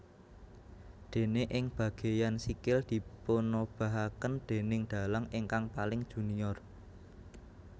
Déné ing bageyan sikil dipunobahaken déning dalang ingkang paling junior